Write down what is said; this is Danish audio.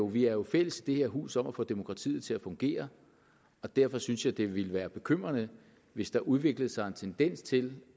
vi er jo fælles i det her hus om at få demokratiet til at fungere og derfor synes jeg det ville være bekymrende hvis der udviklede sig en tendens til